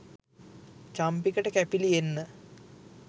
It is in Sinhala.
චම්පිකට කැපිලි එන්න